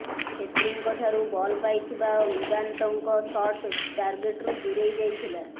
ଛେତ୍ରୀଙ୍କ ଠାରୁ ବଲ୍ ପାଇଥିବା ଉଦାନ୍ତଙ୍କ ସଟ୍ ଟାର୍ଗେଟ୍ରୁ ଦୂରେଇ ଯାଇଥିଲା